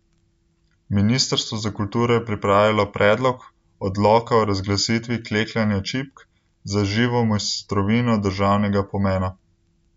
Ministrstvo za kulturo je pripravilo predlog odloka o razglasitvi klekljanja čipk za živo mojstrovino državnega pomena.